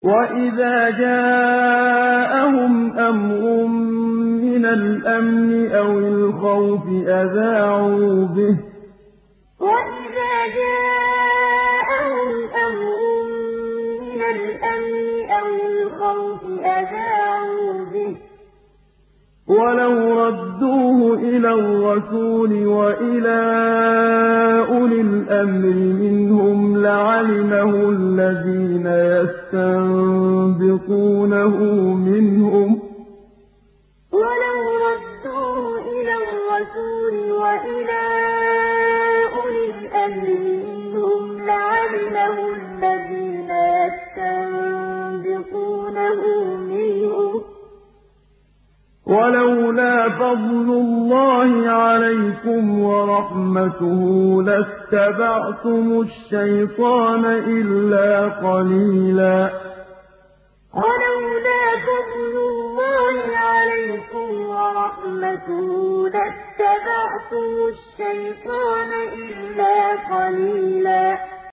وَإِذَا جَاءَهُمْ أَمْرٌ مِّنَ الْأَمْنِ أَوِ الْخَوْفِ أَذَاعُوا بِهِ ۖ وَلَوْ رَدُّوهُ إِلَى الرَّسُولِ وَإِلَىٰ أُولِي الْأَمْرِ مِنْهُمْ لَعَلِمَهُ الَّذِينَ يَسْتَنبِطُونَهُ مِنْهُمْ ۗ وَلَوْلَا فَضْلُ اللَّهِ عَلَيْكُمْ وَرَحْمَتُهُ لَاتَّبَعْتُمُ الشَّيْطَانَ إِلَّا قَلِيلًا وَإِذَا جَاءَهُمْ أَمْرٌ مِّنَ الْأَمْنِ أَوِ الْخَوْفِ أَذَاعُوا بِهِ ۖ وَلَوْ رَدُّوهُ إِلَى الرَّسُولِ وَإِلَىٰ أُولِي الْأَمْرِ مِنْهُمْ لَعَلِمَهُ الَّذِينَ يَسْتَنبِطُونَهُ مِنْهُمْ ۗ وَلَوْلَا فَضْلُ اللَّهِ عَلَيْكُمْ وَرَحْمَتُهُ لَاتَّبَعْتُمُ الشَّيْطَانَ إِلَّا قَلِيلًا